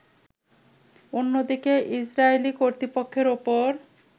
অন্যদিকে ইসরাইলি কর্তৃপক্ষের উপর